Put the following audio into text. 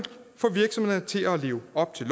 få virksomhederne til at leve op til